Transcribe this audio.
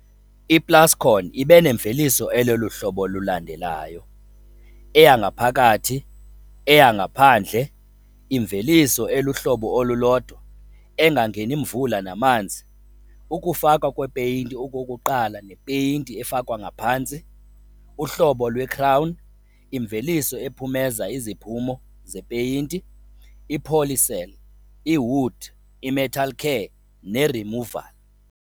I-Plascon ibenemveliso elolu hlobo lulandelayo following - Eyangaphakathi, Eyangaphandle, Imveliso eluhlobo olulodwa, Engangeni mvula namanzi, Ukufakwa kwepeyinti okokuqala nePeyinti efakwa ngaphantsi, uhlobo lweCrown, imveliso ephumeza iziphumo zepeyinti, iPolycell, iWood, iMetalcare neRemovall.